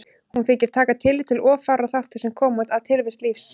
Hún þykir taka tillit til of fárra þátta sem koma að tilvist lífs.